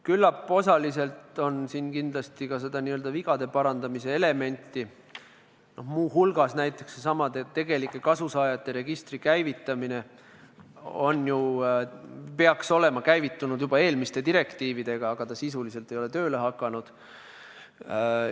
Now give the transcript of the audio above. Küllap on osaliselt siin ka seda n-ö vigade parandamise elementi, muu hulgas seesama tegelike kasusaajate registri käivitamine – see peaks olema käivitatud juba eelmiste direktiividega, aga see sisuliselt ei ole tööle hakanud.